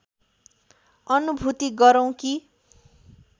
अनुभूति गरौं कि